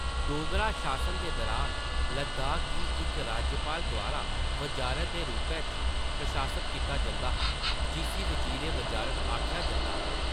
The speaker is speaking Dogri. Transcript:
डोगरा शासन दे दुरान लद्दाख गी इक राज्यपाल द्वारा वज़ारत दे रूपै च प्रशासत कीता जंदा हा, जिस्सी वज़ीर-ए-वज़ारत आखेआ जंदा हा।